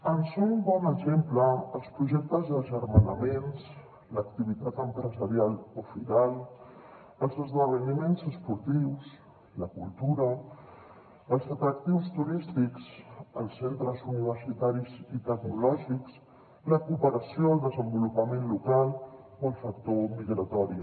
en són bon exemple els projectes agermanaments l’activitat empresarial o firal els esdeveniments esportius la cultura els atractius turístics els centres universitaris i tecnològics la cooperació al desenvolupament local o el factor migratori